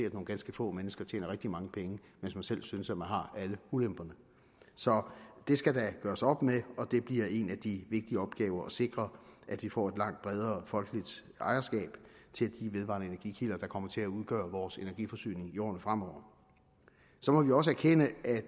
at nogle ganske få mennesker tjener rigtig mange penge mens man selv synes at man har alle ulemperne så det skal der gøres op med og det bliver en af de vigtige opgaver at sikre at vi får et langt bredere folkeligt ejerskab til de vedvarende energikilder der kommer til at udgøre vores energiforsyning i årene fremover så må vi også erkende at